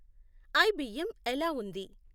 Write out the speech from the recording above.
I B M ఎలా ఉంది